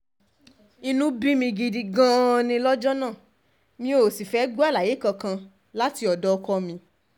inú bí mi gidi gan-an ni lọ́jọ́ náà mi ò sì fẹ́ẹ́ gbọ́ àlàyé kankan láti ọ̀dọ̀ ọkọ mi